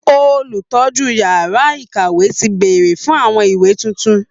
Olùtọ́jú yàrá ìkàwé ti bèèrè fún àwọn ìwé tuntun